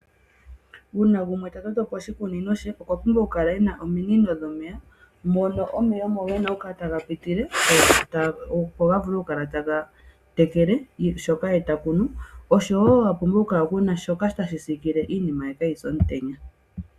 Uuna gumwe ta toto po oshikunino she okwa pumbwa okukala e na ominino dhomeya mono omeya omo ge na okukala taga pitile, opo ga vule okukala taga tekele shoka ye ta kunu, oshowo a pumbwa okukala ku na shoka tashi sikile iinime ye kaayi se omutenya.